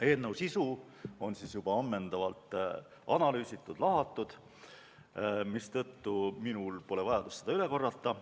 Eelnõu sisu on juba ammendavalt analüüsitud-lahatud, mistõttu minul pole vajadust seda üle korrata.